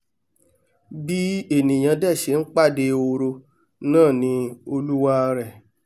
bí ènìà dẹ̀ ṣẹ ń pàdé ehoro náà ni olúwarẹ̀